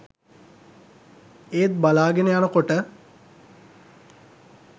ඒත් බලාගෙන යනකොට